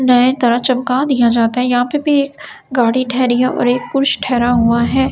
नए तरह चमका दिया जाता है यहाँ पे भी एक गाड़ी ठहरी है और एक कुश ठहरा हुआ है ।